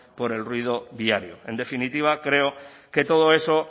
por el ruido viario en definitiva creo que todo eso